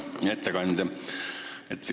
Hea ettekandja!